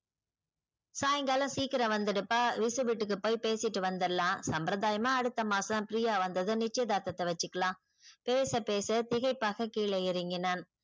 சாயங்காலம் சிக்கரம் வந்துடுப்பா விசு வீட்டுக்கு போய் பேசிட்டு வந்துடலாம் சம்ப்ரதாயமா அடுத்த மாசம் பிரியா வந்ததும் நிச்சயதார்தத்த வசிக்கலாம் பேச பேச திகைப்பாக கீழே இறங்கினான்.